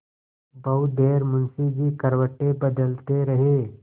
बहुत देर मुंशी जी करवटें बदलते रहे